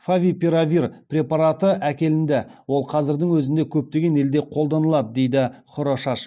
фавипиравир препараты әкелінді ол қазірдің өзінде көптеген елде қолданылады дейді хорошаш